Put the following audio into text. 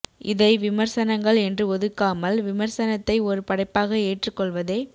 இதை விமர்சனங்கள் என்று ஒதுக்காமல் விமர்சனத்தை ஒரு படைப்பாக ஏற்றுக் கொள்வதே